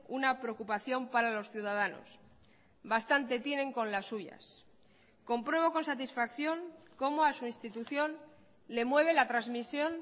una preocupación para los ciudadanos bastante tienen con las suyas compruebo con satisfacción como a su institución le mueve la transmisión